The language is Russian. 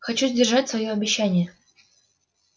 хочу сдержать своё обещание